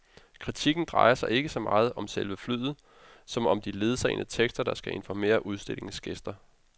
Kritikken drejer sig ikke så meget om selve flyet, som om de ledsagende tekster, der skal informere udstillingens gæster.